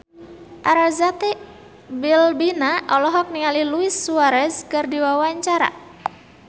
Arzetti Bilbina olohok ningali Luis Suarez keur diwawancara